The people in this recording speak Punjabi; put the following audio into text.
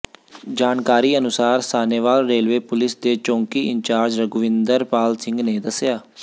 ਜਾਣਕਾਰੀ ਅਨੁਸਾਰ ਸਾਹਨੇਵਾਲ ਰੇਲਵੇ ਪੁਲਸ ਦੇ ਚੌਕੀ ਇੰਚਾਰਜ ਰਘੁਵਿੰਦਰ ਪਾਲ ਸਿੰਘ ਨੇ ਦੱਸਿਆ